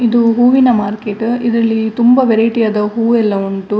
ಇದು ಹೂವಿನ ಮಾರ್ಕೆಟ್ ಇದರಲ್ಲಿ ತುಂಬಾ ವೆರೈಟಿ ಯಾದ ಹೂ ಎಲ್ಲಾ ಉಂಟು.